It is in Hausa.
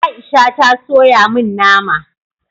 Aisha ta soya min nama